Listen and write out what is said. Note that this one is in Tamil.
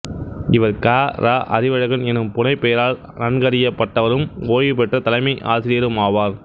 இவர் க ரா அறிவழகன் எனும் புனைப்பெயரால் நன்கறியப்பட்டவரும் ஓய்வு பெற்ற தலைமை ஆசிரியருமாவார்